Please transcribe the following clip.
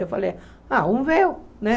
Eu falei, ah, um véu, né?